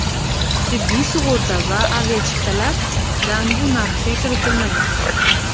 Tibbiy sug‘urta va aviachiptalardan bu narxga kiritilmagan.